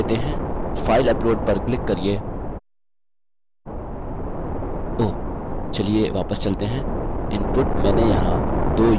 file upload पर click करिये ओह चलिए वापस चलते हैं input मैंने यहाँ 2 us टाइप कर दिए हैं